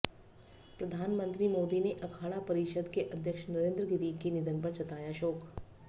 प्रधानमंत्री मोदी ने अखाड़ा परिषद के अध्यक्ष नरेंद्र गिरि के निधन पर जताया शोक